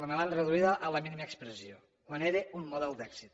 me l’han reduïda a la mínima expressió quan era un model d’èxit